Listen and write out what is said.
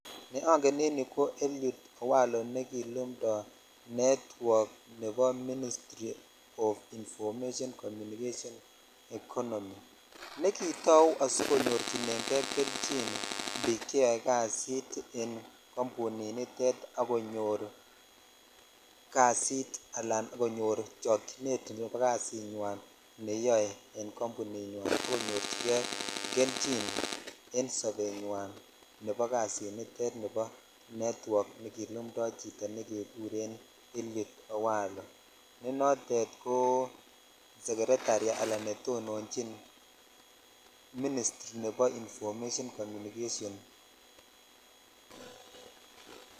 Ne ongen en yu ko Eliud owalo nekilumto network nebo ministry of information communication economy nekitau asikonyorchinen kei kelchin bik cheyo boishet kambun nitet ak konyor kasi ala akonyor chokchinet nebo kasinywen neyoe en kambuni nywan ak konyorchinen kei kelchin en sobenywan nebo kasinite nebo netwok kilumtoi chito ne jekuren Eliud owalo ne notet ko secretary ala netonochin ,ministry ,nebo information communication.